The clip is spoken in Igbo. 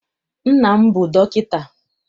Nna m bụ dọkịta.